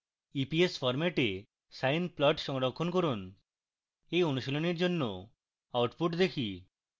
eps ফরম্যাটে sine plot সংরক্ষণ করুন এই অনুশীলনীর জন্য output দেখি